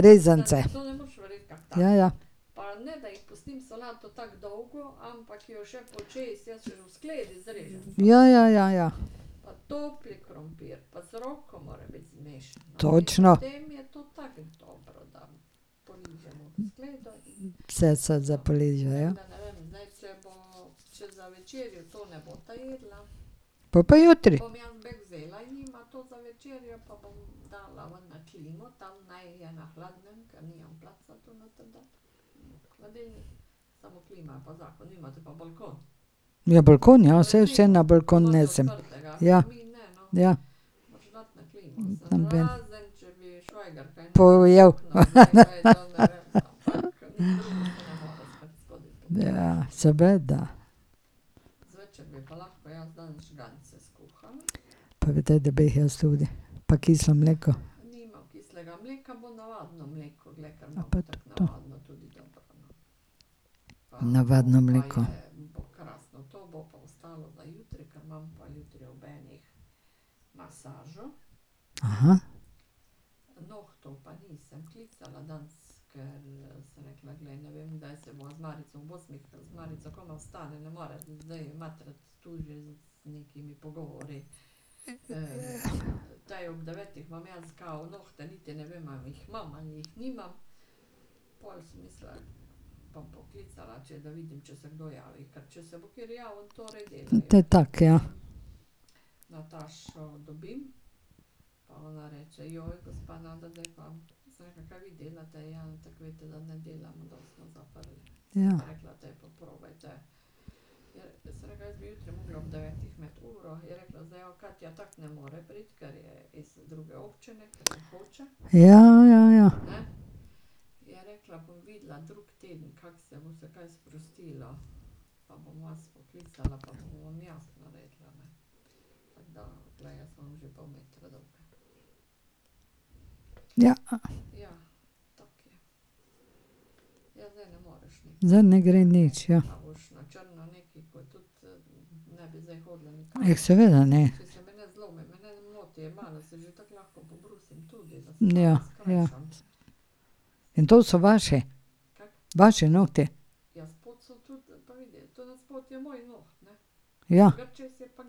Rezance. Ja, ja. Ja, ja, ja, ja. Točno. Vse se za poliže, ja. Pol pa jutri. Ja, balkon, ja, saj vse na balkon nesem. Ja. Ja. Pojedel. Ja, seveda. Pa bi te, da bi jih jaz tudi. Pa kislo mleko. Navadno mleko. Te tako, ja. Ja. Ja, ja, ja. Ja. Zdaj ne gre nič, ja. Jah, seveda, ne. Ja, ja. In to so vaši? Vaši nohti? Ja. Po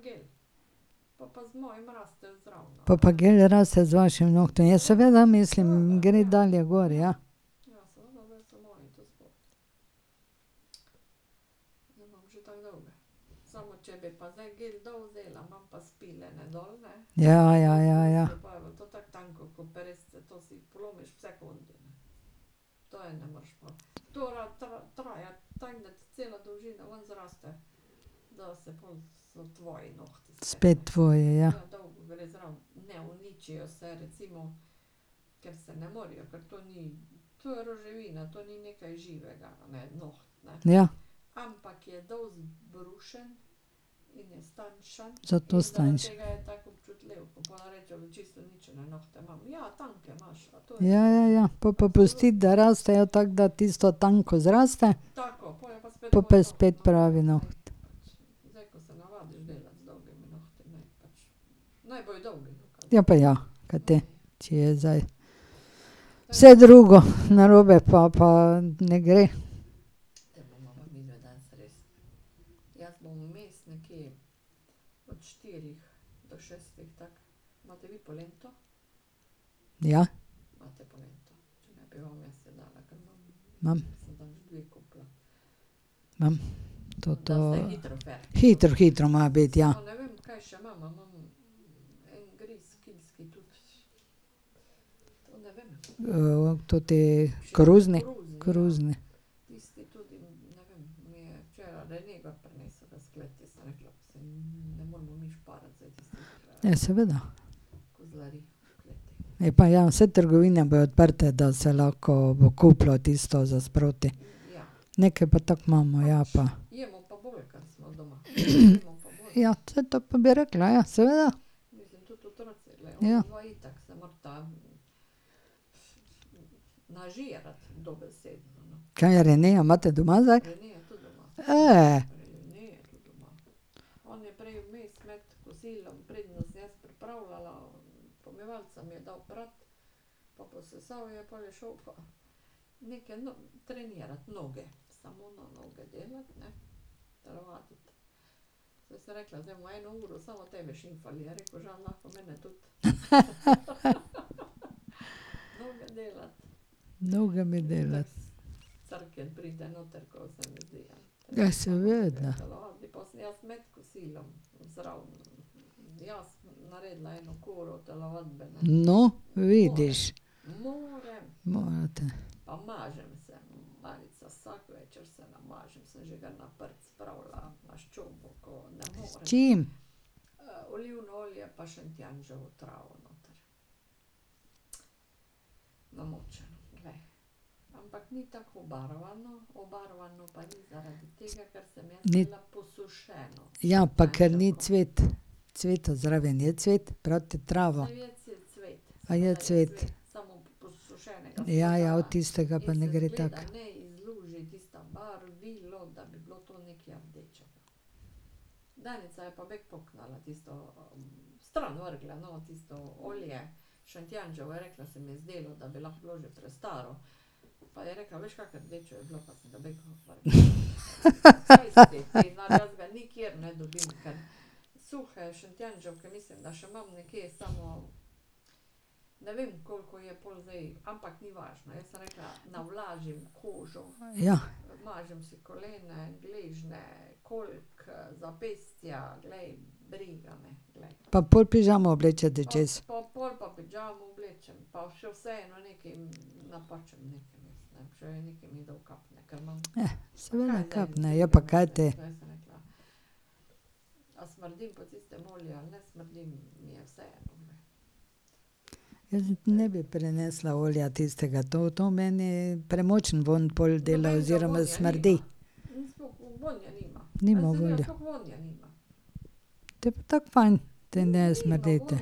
pa gel raste z vašim nohtom, ja, seveda, mislim, gre dalje gor. Ja, ja, ja, ja. Spet tvoji, ja. Ja. Zato so tanjši ... Ja, ja, ja. Pol pa pusti, da rastejo, tako da tisto tanko zraste. Po pa je spet pravi noht. Ja pa ja. Kaj te, če je zdaj vse drugo, narobe pa pa ne gre. Ja. Imam. Imam, toto. Hitro, hitro mora biti, ja. toti koruzni? Koruzni. Ja, seveda. Ja pa ja, saj trgovine bodo odprte, da se lahko bo kupilo tisto za sproti. Nekaj pa tako imamo, ja pa. ja, saj to pa bi rekla, ja, seveda. Ja. Kaj Jernejo imate doma zdaj? Dolge mi . Ja, seveda. No, vidiš. Morate. S čim? Ni ... Ja, pa ker ni cvet. Cveta zraven, je cvet? trava. A je cvet? Ja, ja, od tistega pa ne gre tako. Ja. Pa pol pižamo oblečete čez? seveda kapne, ja pa ka te. Jaz ne bi prenesla olja tistega, to to meni premočen vonj pol dela oziroma smrdi. Nima vonja. Potem pa tako fajn, da ne smrdite.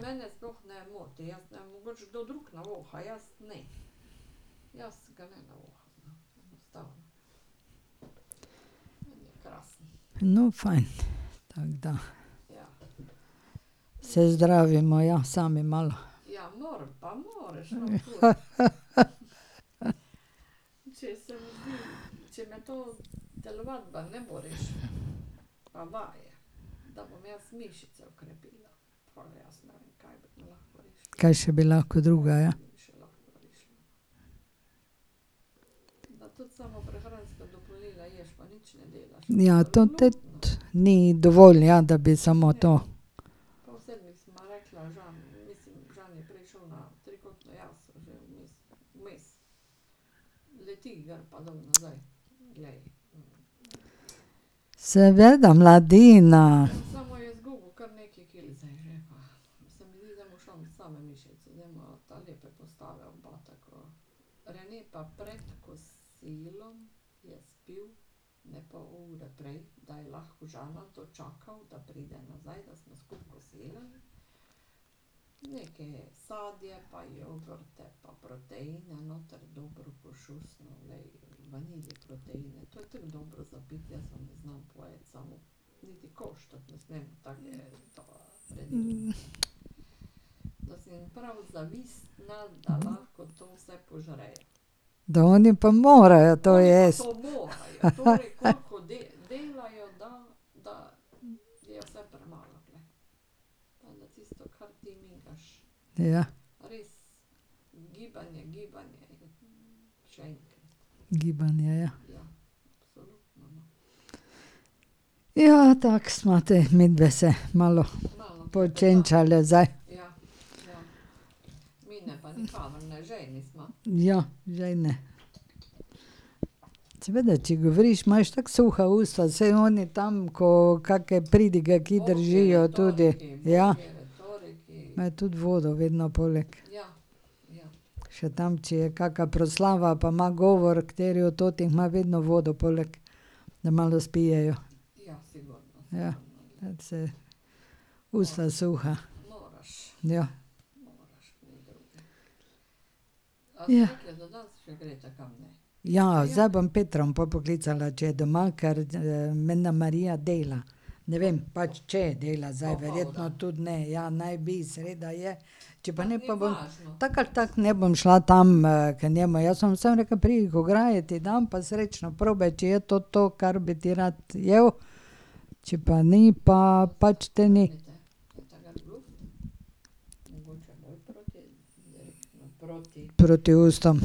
No fajn, tako da. Se zdravimo ja, sami malo. Kaj še bi lahko druga, ja. Ja, to te ni dovolj, ja, da bi samo to. Seveda, mladina. Da oni pa morajo to jesti. Ja. Gibanje, ja. Ja, tako sva te midve se malo počenčale zdaj. Ja, žejne. Seveda, če govoriš imaš tako suha usta, saj oni tam, ko kake pridige kje držijo tudi, ja. Me tudi vodo vedno poleg. Še tam, če je kaka proslava pa ima govor kateri od teh, ima vedno vodo poleg. Da malo spijejo. Ja, saj, suha usta. Ja. Ja. Ja, zdaj bom Petra bom pol poklicala, če je doma, ker menda Marija dela. Ne vem pač, če dela, zdaj verjetno tudi ne, ja, naj bi, sreda je. Če pa ne, pa bom, tako ali tako ne bom šla tam k njemu, jaz bom samo rekla: "Pridi k ograji, ti dam pa srečo, probaj, če je to to, kar bi ti rad jedel, če pa ni, pa pač te ni." Proti ustom.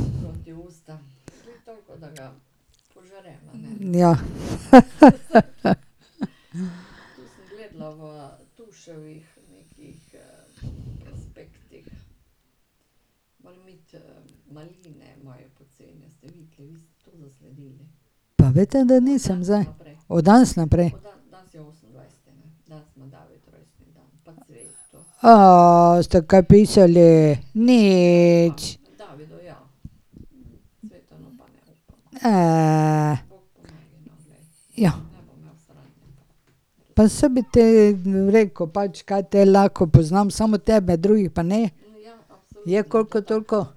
Ja, Pa veste, da nisem zdaj? Od danes naprej? ste kaj pisali? Nič? Pa saj bi ti rekel pač, ka te lahko, poznam samo tebe, drugih pa ne. Je koliko toliko?